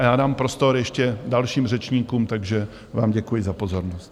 A já dám prostor ještě dalším řečníkům, takže vám děkuji za pozornost.